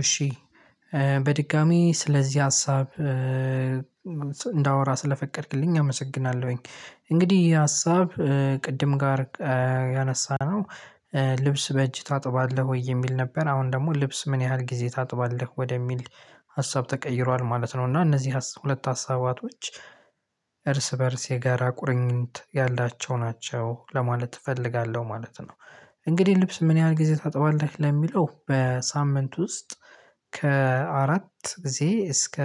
እሺ በድጋሜ ስለዚህ ሀሳብ እንዳወራ ስለፈቀድክልኝ አመሰግናለሁኝ እንግዲህ ሀሳብ ቅድም ጋር ያነሳነው ልብስ በእጅ ታጥባለህ ወይ የሚል ነበር? አሁን ደሞ ልብስ ምን ያህል ጊዜ ታጥባለህ ወደሚል ሀሳብ ተቀይሯል ማለት ነው። እና እነዚህ ሁለት ሀሳባቶች እርስ በእርስ የጋራ ቁርኝት ያላቸው ናቸው ለማለት እፈልጋለሁ ማለት ነው። እንግዲህ ልብስ ምን ያህል ጊዜ ታጥባለህ ለሚለው በሳምንት ውስጥ ከአራት ጊዜ እስከ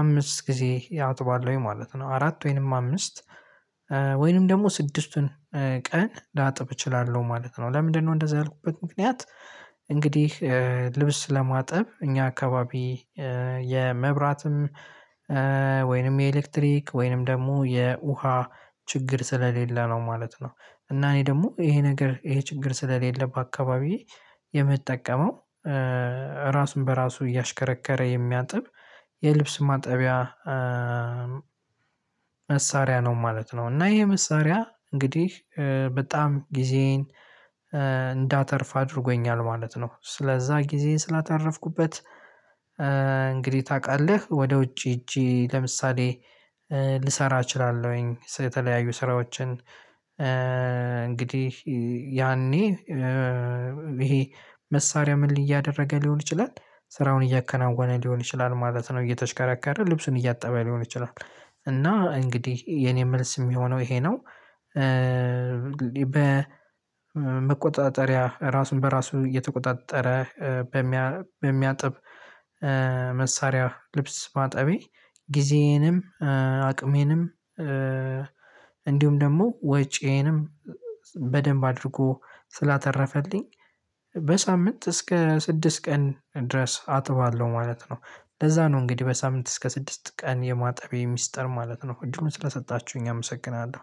አምስት ጊዜ ያጥባሉ ማለት ነው። አራት ወይንም አምስት ወይንም ደግሞ ስድስቱን ቀን ላጥብ እችላለው ማለት ነው። ለምንድነው እንደዛ ያልኩበት ምክንያት? እንግዲህ ልብስ ለማጠብ እኛ አካባቢ የመብራትም ወይንም የኤሌክትሪክ ወይንም ደግሞ የውሃ ችግር ስለሌለ ነው ማለት ነው። እና እኔ ደግሞ ይሄ ነገር ይሄ ችግር ስለሌለ በአካባቢዬ የምጠቀመው ራሱን በራሱ እያሽከረከረ የሚያጥብ የልብስ ማጠቢያ መሳሪያ ነው ማለት ነው። እና ይሄ መሳሪያ እንግዲህ በጣም ጊዜዬን እንዳተርፍ አድርጎኛል ማለት ነው። ስለዛ ጊዜ ስላታረፍኩበት እንግዲህ ታውቃለህ ወደ ውጪ እጄ ለምሳሌ ልሰራ እችላለሁኝ የተለያዩ ስራዎችን እንግዲህ ያኔ ይሄ መሳሪያ ምን እያደረገ ሊሆን ይችላል ስራውን እያከናወነ ሊሆን ይችላል ማለት ነው። እየተሽከረከረ ልብሱን እያጣበ ሊሆን ይችላል። እና እንግዲህ የኔ መልስ የሚሆነው ይሄ ነው። በመቆጣጠሪያ ራሱን በራሱ እየተቆጣጠረ በሚያጥብ መሳሪያ ልብስ ማጠቢ ጊዜዬንም አቅሜንም እንዲሁም ደሞ ወጪዬንም በደንብ አድርጎ ስላተረፈልኝ በሳምንት እስከ ስድስት ቀን ድረስ አጥባለው ማለት ነው። ለዛ ነው እንግዲህ በሳምንት እስከ ስድስት ቀን የማጠቤ ሚስጥር ማለት ነው። እድሉንን ስለሰጣችሁኝ አመሰግናለሁ።